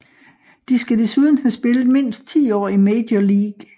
De skal desuden have spillet mindst 10 år i Major League